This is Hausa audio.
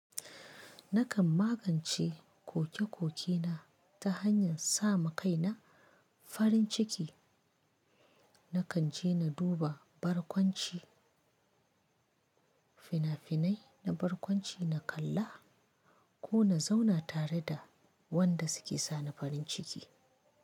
Nakan magance koke-kokena ta hanyar sa ma kai na farin ciki. Nakan je na duba barkwanci, fina-finai na barkwanci na kalla ko na zauna tare da wanda suke sa ni farin ciki.